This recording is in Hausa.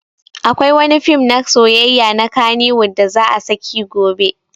Akwai wani fim na soyayya na kannywood da za a saki gobe